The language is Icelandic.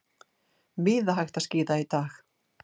Víða hægt að skíða í dag